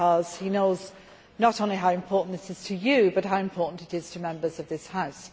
He knows not only how important this is to you, but how important it is to Members of this House.